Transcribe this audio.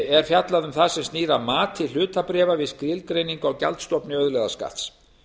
er fjallað um það sem snýr að mati hlutabréfa við skilgreiningu á gjaldstofni auðlegðarskatts